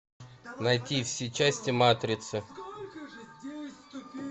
найти все части матрицы